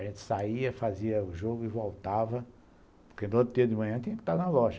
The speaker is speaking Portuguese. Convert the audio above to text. A gente saía, fazia o jogo e voltava, porque do outro dia de manhã tinha que estar na loja.